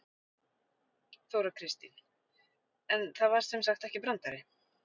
Þóra Kristín: En það var sem sagt ekki brandari?